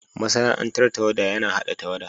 Masana'antar tawada yana hada tawada.